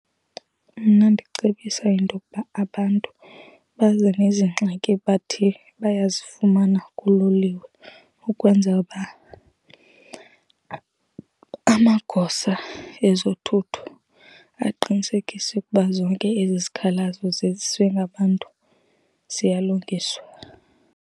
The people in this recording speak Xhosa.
Mna ndicebisa intokuba abantu baze nezingxaki bathi bayazifumana kuloliwe, ukwenzela uba amagosa ezothutho aqinisekise ukuba zonke ezi zikhalazo ziziswe ngabantu ziyalungiswa.